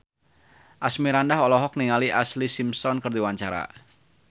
Asmirandah olohok ningali Ashlee Simpson keur diwawancara